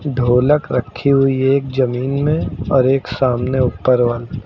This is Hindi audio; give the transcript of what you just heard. ढोलक रखी हुई एक जमीन में और एक सामने ऊपर वॉल --